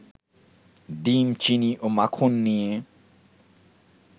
ডিম, চিনি ও মাখন নিয়ে